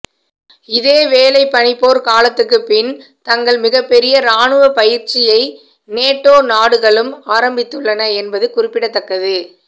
இதேவேளை பனிப்போர் காலத்துக்குப் பின் தங்கள் மிகப்பெரிய ராணுவப் பயிற்சியை நேட்டோ நாடுகளும் ஆரம்பித்துள்ளன என்பது குறிப்பிடத்தக்கது